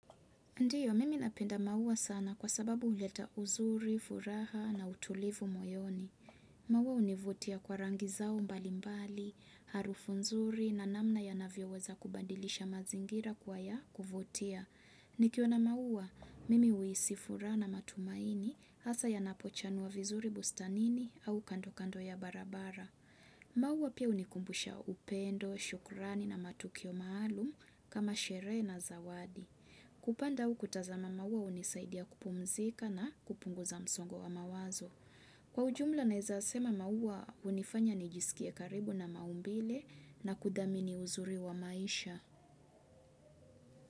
Ndio, mimi napenda maua sana kwa sababu huleta uzuri, furaha na utulivu moyoni. Maua univutia kwa rangi zao mbalimbali, harufu nzuri na namna ya navyoweza kubadilisha mazingira kuwa ya kuvutia. Nikiona maua, mimi uisifuraha na matumaini hasa ya napochanwa vizuri bustanini au kando kando ya barabara. Maua pia unikumbusha upendo, shukurani na matukio maalum kama sherehe na zawadi. Kupanda au kutazama maua unisaidia kupumzika na kupunguza msongo wa mawazo. Kwa ujumla naeza sema maua unifanya nijisikie karibu na maumbile na kudhamini uzuri wa maisha.